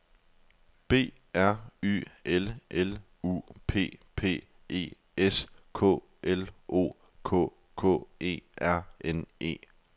B R Y L L U P P E S K L O K K E R N E